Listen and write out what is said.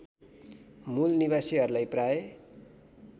मूल निवासीहरूलाई प्राय